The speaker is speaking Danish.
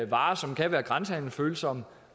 varer som kan være grænsehandelsfølsomme